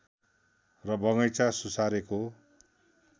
र बगैँचा सुसारेको